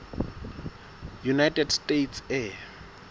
united states air